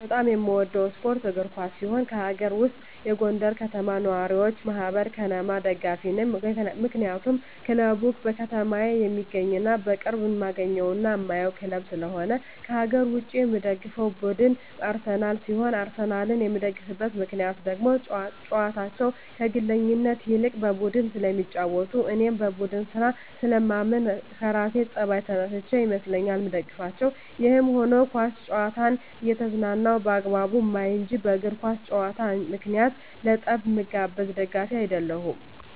በጣም የምወደው ስፓርት እግር ኳስ ሲሆን ከአገር ውስጥ የጎንደር ከተማ ነዋሪወች ማህበር(ከነማ) ደጋፊ ነኝ ምክንያቱም ክለቡ በከተማየ የሚገኝና በቅርብ እማገኘውና እማየው ክለብ ስለሆነ። ከአገር ውጭ የምደግፈው ቡድን አርሰናል ሲሆን አርሰናልን የምደግፍበት ምክንያት ደግሞ ጨዋታቸው ከግለኝነት ይልቅ በቡድን ስለሚጫወቱ እኔም በቡድን ስራ ስለማምን ከራሴ ጸባይ ተነስቸ ይመስለኛል ምደግፋቸው። ይህም ሁኖ ኳስ ጨዋታን እየተዝናናው በአግባቡ ማይ እንጅ በእግር ኳስ ጨዋታ ምክንያት ለጠብ ምጋበዝ ደጋፊ አደለሁም።